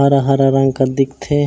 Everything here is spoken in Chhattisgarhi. हरा-हरा रंग कस दिखथे--